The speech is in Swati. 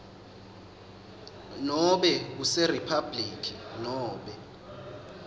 nobe kuseriphabhuliki nobe